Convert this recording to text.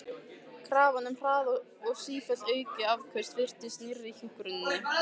Krafan um hraða og sífellt aukin afköst virtist rýra hjúkrunina.